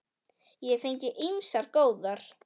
Ég hef fengið ýmsar góðar.